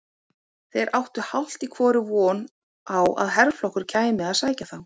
Þeir áttu hálft í hvoru von á að herflokkur kæmi að sækja þá.